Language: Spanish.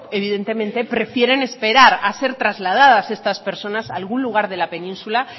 evidentemente prefieren esperar a ser trasladas estas personas a algún lugar del península